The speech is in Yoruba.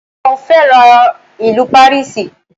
Mo féràn ìlú Pàríìsì.